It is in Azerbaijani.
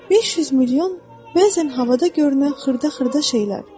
500 milyon bəzən havada görünən xırda-xırda şeylər.